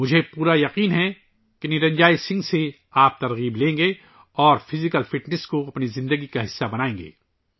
مجھے یقین ہے کہ آپ نرنجوئے سنگھ سے متاثر ہوں گے اور جسمانی فٹنس کو اپنی زندگی کا حصہ بنائیں گے